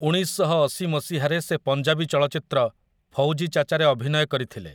ଉଣେଇଶଶହଅଶି ମସିହାରେ ସେ ପଞ୍ଜାବୀ ଚଳଚ୍ଚିତ୍ର 'ଫୌଜୀ ଚାଚା'ରେ ଅଭିନୟ କରିଥିଲେ ।